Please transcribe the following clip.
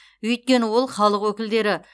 өйткені ол халық өкілдері